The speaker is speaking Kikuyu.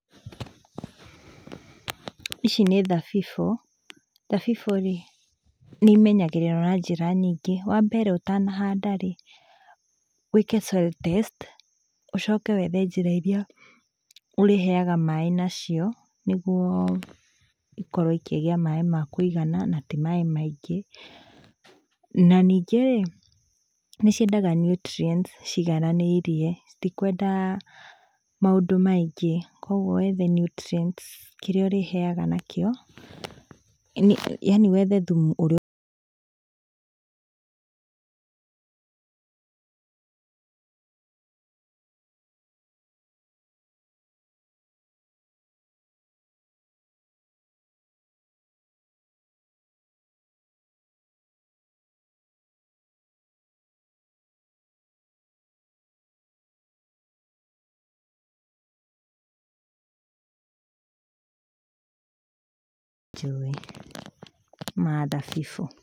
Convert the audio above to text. Ici nĩ thabibũ, thabibũ rĩ nĩimenyagĩrĩrwo na njĩra nyingĩ. Wa mbere ũtanahanda rĩ wĩke soil test ũcoke wethe njĩra irĩa ũrĩheaga maĩ nacio nĩguo ikorwo ikĩgĩa maĩ ma kũigana na ti maĩ maingĩ, na ningĩ rĩ, nĩciendaga nutrients cigananĩirie citikwenda maũndũ maingĩ kwoguo wethe nutrients kĩrĩa ũrĩheaga nakĩo, yaani wethe thumu ũrĩa njũi ma thabibũ.